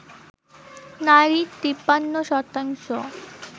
নারী ৫৩%